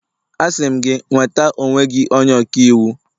Asị m gị, nweta onwe gị onye ọka iwu!